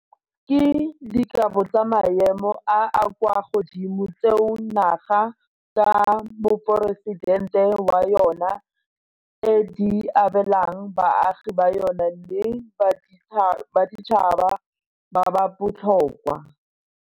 Ke dikabo tsa maemo a a kwa godimo tseo naga, ka Moporesidente wa yona, e di abelang baagi ba yona le baditšhaba ba ba botlhokwa.